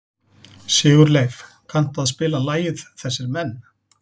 Sigurleif, kanntu að spila lagið „Þessir Menn“?